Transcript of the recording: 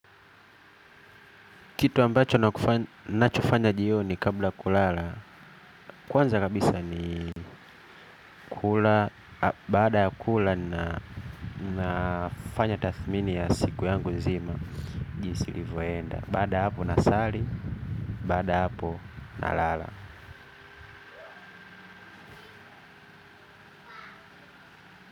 Kitu ambacho ninachofanya jioni kabla ya kulala kwanza kabisa ni kula. Baada ya kula ninafanya tathmini ya siku yangu nzima jinsi ilivyoenda baada ya hapo na sali. Baada ya hapo nalala.